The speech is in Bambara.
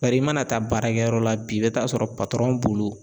Bari i mana taa baarakɛyɔrɔ la bi i bɛ taa sɔrɔ bolo